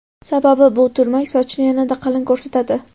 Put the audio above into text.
Sababi bu turmak sochni yanada qalin ko‘rsatadi.